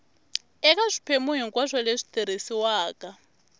eka swiphemu hinkwaswo leswi tirhisiwaka